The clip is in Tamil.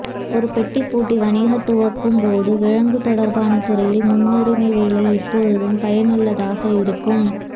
ஒரு பெட்டி பூட்டிக் வணிக துவங்கும் போது விலங்கு தொடர்பான துறையில் முன்னுரிமை வேலை எப்போதும் பயனுள்ளதாக இருக்கும்